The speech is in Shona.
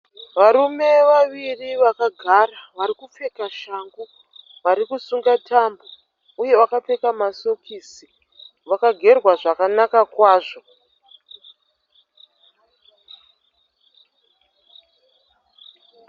Varime vaviri vakagara vari kupfeka shangu. Varikusunga tambo uye vakapfeka masokisi. Vakagerwa zvakanaka kwazvo.